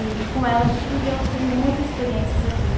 E com ela a gente viveu assim muitas experiências aqui.